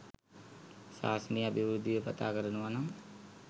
ශාසනයේ අභිවෘද්ධිය පතා කරනවා නම්